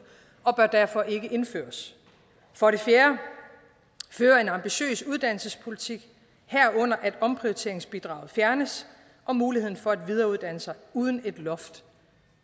og bør derfor ikke indføres for det fjerde fører en ambitiøs uddannelsespolitik herunder at omprioriteringsbidrag fjernes og muligheden for at videreuddanne sig uden et loft